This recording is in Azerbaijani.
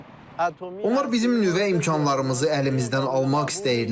Onlar bizim nüvə imkanlarımızı əlimizdən almaq istəyirdilər.